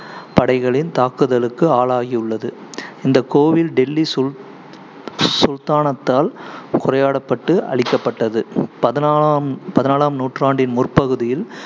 படைகளின் தாக்குதலுக்கு ஆளாகியுள்ளது. இந்தக் கோயில் டெல்லி சுல்~ சுல்தானத்தால் சூறையாடப்பட்டு அழிக்கப்பட்டது பதினாலாம் நூற்றாண்டின் முற்பகுதியில்